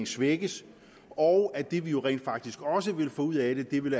svækkes og at det vi jo rent faktisk også vil få ud af det vil